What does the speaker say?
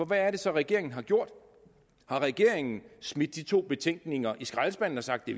hvad er det så regeringen har gjort har regeringen smidt de to betænkninger i skraldespanden og sagt det